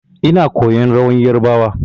Ina koyan rawar yarbawa.